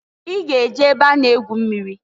I g'e je ebe a na egwu mmiri!